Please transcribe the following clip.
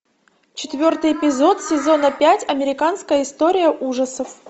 четвертый эпизод сезона пять американская история ужасов